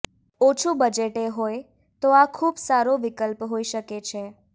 ઓછું બજેટએ હોય તો આ ખૂબ સારો વિકલ્પ હોઈ શકે છે